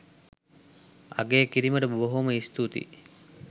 අගය කිරීමට බොහොම ස්තුති